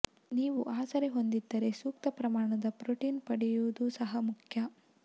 ನೀವು ಆಸರೆ ಹೊಂದಿದ್ದರೆ ಸೂಕ್ತ ಪ್ರಮಾಣದ ಪ್ರೊಟೀನ್ ಪಡೆಯುವುದು ಸಹ ಮುಖ್ಯ